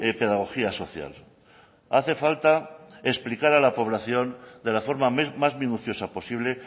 pedagogía social hace falta explicar a la población de la forma más minuciosa posible